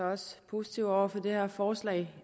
også positivt over for det her forslag